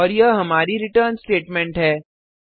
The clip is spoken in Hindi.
और यह हमारी रिटर्न स्टेटमेंट है